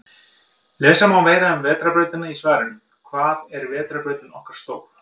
Lesa má meira um Vetrarbrautina í svarinu Hvað er vetrarbrautin okkar stór?